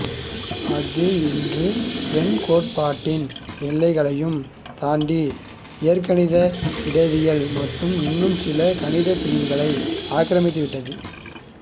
அது இன்று எண்கோட்பாட்டின் எல்லைகளையும் தாண்டி இயற்கணித இடவியல் மற்றும் இன்னும் சில கணிதப் பிரிவுகளை ஆக்கிரமித்துவிட்டது